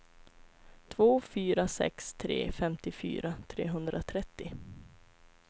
två fyra sex tre femtiofyra trehundratrettio